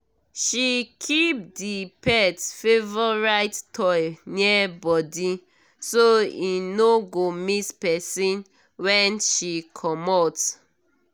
she keep the pet favorite toy near body so e no go miss person when she comot.